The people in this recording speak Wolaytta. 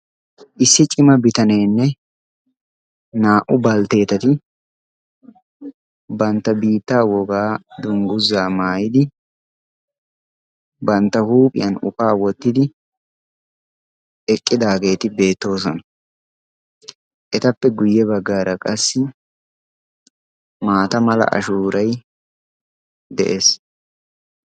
issi cima bitaneenne naa''u baltteetati bantta biitta wogaa dungguzaa maayidi bantta huuphiyan ufaa wottidi eqqidaageeti beettoosona etappe guyye baggaara qassi maata mala ashuurai de'ees